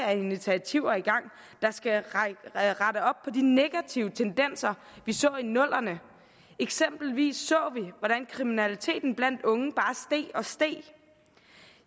af initiativer i gang der skal rette op på de negative tendenser vi så i nullerne eksempelvis så vi hvordan kriminaliteten blandt unge bare steg og steg